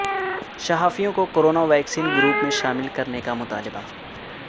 صحافیوں کو corona vaccination group میں شامل کرنے کا مطالبہ